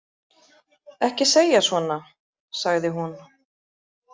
Ekki segja svona, sagði hún.